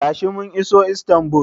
Tashi, mun iso Istanbul.